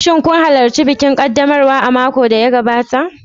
Shin kun halarci bikin ƙaddamarwa a makon da ya gabata?